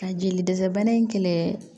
Ka jeli dɛsɛ bana in kɛlɛ